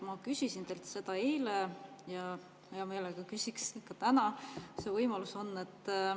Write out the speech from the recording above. Ma küsisin teilt seda eile ja hea meelega küsin ka täna, kui see võimalus on.